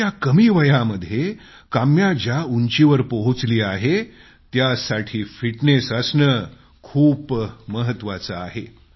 इतक्या कमी वयामध्ये काम्या ज्या उंचीवर पोहोचली आहे त्यासाठी फिटनेस असणं खूप महत्वाचं आहे